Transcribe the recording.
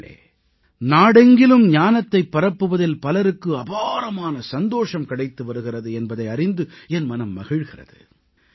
நண்பர்களே நாடெங்கிலும் ஞானத்தைப் பரப்புவதில் பலருக்கு அபாரமான சந்தோஷம் கிடைத்து வருகிறது என்பதை அறிந்து என் மனம் மகிழ்கிறது